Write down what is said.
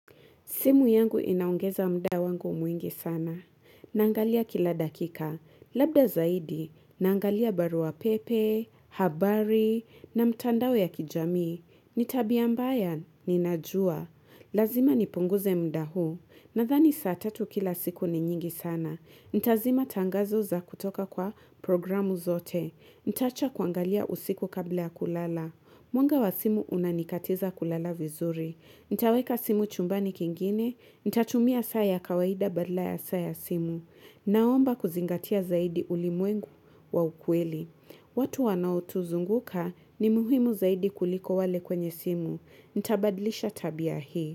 Simu yangu inaongeza muda wangu mwingi sana. Naangalia kila dakika. Labda zaidi, naangalia barua pepe, habari, na mitandao ya kijamii. Ni tabia mbaya, ninajua. Lazima nipunguze muda huu. Nadhani saa tatu kila siku ni nyingi sana. Nitazima tangazo za kutoka kwa programu zote. Nitaacha kuangalia usiku kabla ya kulala. Mwanga wa simu unanikatiza kulala vizuri. Nitaweka simu chumbani kingine. Nitatumia saa ya kawaida badala ya saa ya simu. Naomba kuzingatia zaidi ulimwengu wa ukweli. Watu wanaotuzunguka ni muhimu zaidi kuliko wale kwenye simu. Nitabadlisha tabia hii.